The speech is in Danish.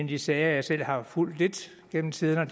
de sager jeg selv har fulgt lidt gennem tiden er